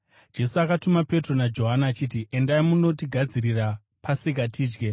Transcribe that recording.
Jesu akatuma Petro naJohani, achiti, “Endai munotigadzirira Pasika tidye.”